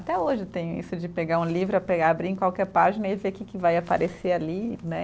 Até hoje tem isso de pegar um livro, pegar, abrir em qualquer página e ver que que vai aparecer ali, né?